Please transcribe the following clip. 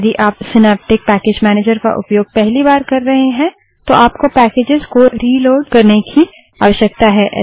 यदि आप synaptic package manager का उपयोग पहली बार कर रहे हैं तो आपको पैकेजस को रिलोड़ करने की आवश्यकता है